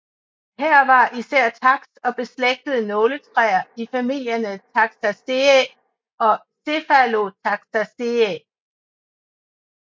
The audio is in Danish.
Her er især taks og beslægtede nåletræer i familierne Taxaceae og Cephalotaxaceae